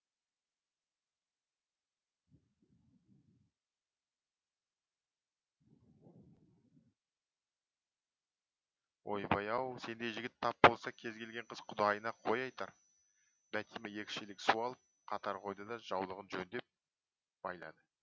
ойбай ау сендей жігіт тап болса кез келген қыз құдайына қой айтар бәтима екі шелек су алып қатар қойды да жаулығын жөндеп байлады